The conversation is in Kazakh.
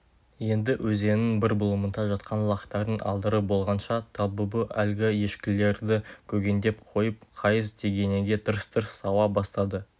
енді өзеннің бір бұлымында жатқан лақтарын алдырып болғанша талбүбі әлгі ешкілерді көгендеп қойып қайыс тегенеге тырс-тырс сауа бастады